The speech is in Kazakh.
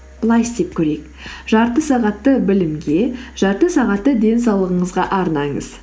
былай істеп көрейік жарты сағатты білімге жарты сағатты денсаулығыңызға арнаңыз